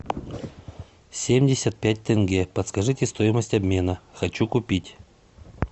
семьдесят пять тенге подскажите стоимость обмена хочу купить